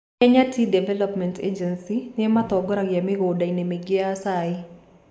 Kenya Tea Development Agency nĩ ĩmatongoria mĩgũnda-inĩ mĩingĩ ya cai.